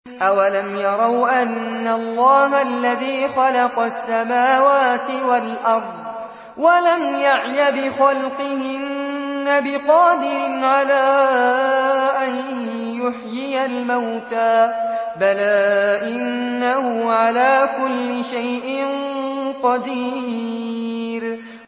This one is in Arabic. أَوَلَمْ يَرَوْا أَنَّ اللَّهَ الَّذِي خَلَقَ السَّمَاوَاتِ وَالْأَرْضَ وَلَمْ يَعْيَ بِخَلْقِهِنَّ بِقَادِرٍ عَلَىٰ أَن يُحْيِيَ الْمَوْتَىٰ ۚ بَلَىٰ إِنَّهُ عَلَىٰ كُلِّ شَيْءٍ قَدِيرٌ